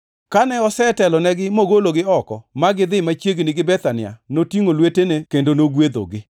Kane osetelonegi mogologi oko ma gidhi machiegni gi Bethania, notingʼo lwetene kendo nogwedhogi.